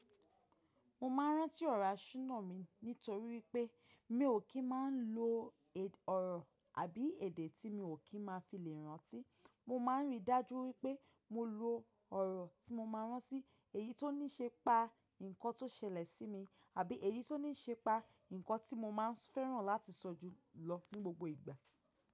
Mo máa rántí ọ̀rọ̀ aṣunà mi nítorí pé mi ò kí máa lo ọ̀rọ̀ àbí èdè tí mi ò kí máa fi lè rántí. Mo máa ń ri dájú pé mo lo ọ̀rọ̀ tí mo máa rántí, èyí tó ní í ṣe pa nǹkan tó ṣẹlẹ̀ sí mi àbí èyí tó ní í ṣe pa nǹkan tí mo máa ń fẹ́ràn láti sọ jùlọ ní gbogbo ìgbà.